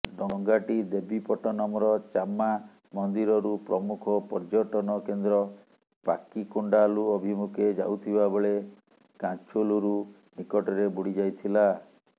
ଡଙ୍ଗାଟି ଦେବୀପଟନମ୍ର ଚାମ୍ମା ମନ୍ଦିରରୁ ପ୍ରମୁଖ ପର୍ଯ୍ୟଟନ କେନ୍ଦ୍ର ପାକିକୋଣ୍ଡାଲୁ ଅଭିମୁଖେ ଯାଉଥିବାବେଳେ କାଛୁଲୁରୁ ନିକଟରେ ବୁଡି ଯାଇଥିଲା